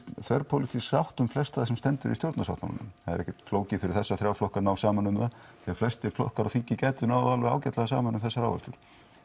þverpólitísk sátt um flestallt sem stendur í stjórnarsáttmálanum það er ekkert flókið fyrir þessa þrjá flokka að ná saman um það því flestir flokkar á þingi gætu náð alveg ágætlega saman um þessar áherslur